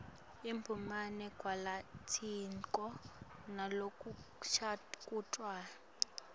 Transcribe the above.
ibumbene ngalokwenetisako nalokucuketfwe